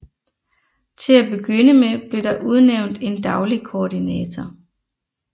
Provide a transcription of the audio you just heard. Til at begynde med blev der udnævnt en daglig koordinator